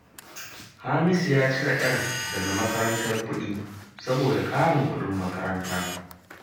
Hamisu ya cire 'yar daga makarantar kuɗi saboda ƙarin kuɗin makaranta